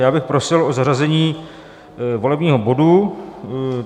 Já bych prosil o zařazení volebního bodu.